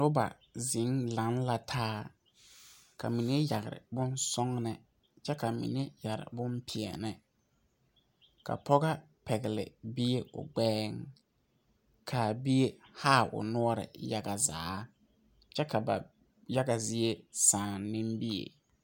Noba zeŋ laŋe la taa ka mine yɛre bon sɔglɔ kyɛ ka mine yɛre bon pɛɛle, ka pɔgɔ pɛgeli bie o gbɛuŋ ka bie haaa o noɔre yaga zaa kyɛ ka ba yaga zie sa